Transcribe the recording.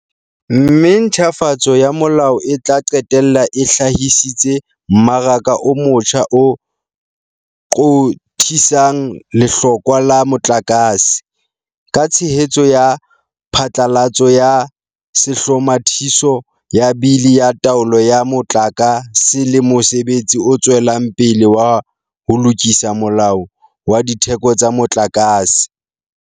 Mme ntjhafatso ya molao e tla qetella e hlahisitse mmaraka o motjha o qothisang lehlokwa la motlakase, ka tshehetso ya phatlalatso ya Sehlomathiso sa Bili ya Taolo ya Motlaka se le mosebetsi o tswelang pele wa ho lokisa Molao wa Ditheko tsa Motlakase.